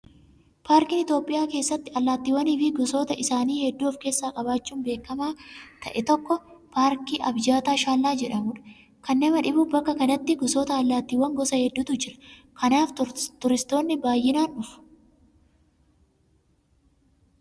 Paarkiin Itoophiyaa keessatti allaattiiwwanii fi gosoota isaanii hedduu of keessaa qabaachuun beekamaa ta'e tokko paarkii abijata shaallaa jedhamudha. Kan nama dhibu bakka kanatti gosoota allaattiiwwanii gosa hedduutu jira. Kanaaf turistoonni baay'inaan dhufu.